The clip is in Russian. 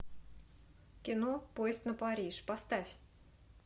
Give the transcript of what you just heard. кино поезд на париж поставь